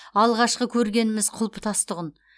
алғашқы көргеніміз құлпытас тұғын